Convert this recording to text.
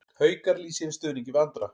Haukar lýsa yfir stuðningi við Andra